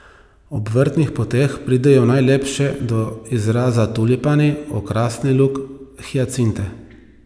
Ob vrtnih poteh pridejo najlepše do izraza tulipani, okrasni luk, hijacinte.